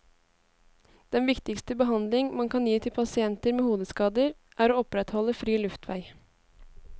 Den viktigste behandling man kan gi til pasienter med hodeskader er å opprettholde fri luftvei.